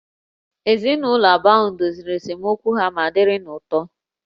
Ezinụlọ abụọ ahụ doziri esemokwu ha ma dịrị n'otu